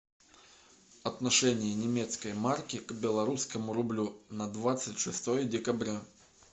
отношение немецкой марки к белорусскому рублю на двадцать шестое декабря